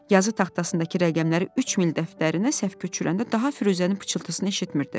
Yazı taxtasındakı rəqəmləri üç mil dəftərinə səhv köçürəndə daha Firuzənin pıçıltısını eşitmirdi.